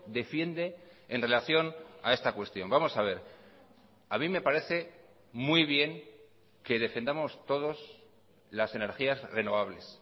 defiende en relación a esta cuestión vamos a ver a mí me parece muy bien que defendamos todos las energías renovables